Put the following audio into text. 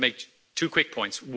I wish to make two quick points.